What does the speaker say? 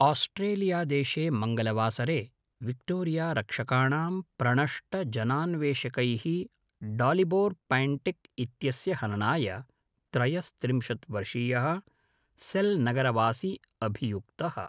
आस्ट्रेलियादेशे मङ्गलवासरे विक्टोरियारक्षकाणां प्रणष्टजनान्वेषकैः डालिबोर् पैण्टिक् इत्यस्य हननाय त्रयस्त्रिंशत् वर्षीयः सेल्नगरवासी अभियुक्तः।